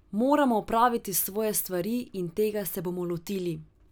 Moramo opraviti svoje stvari in tega se bomo lotili.